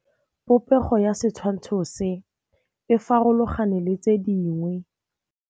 Popêgo ya setshwantshô se, e farologane le tse dingwe.